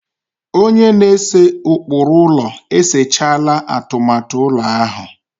Onye na-ese ụkpụrụ ụlọ e sechaala atụmatụ ụlọ ahụ.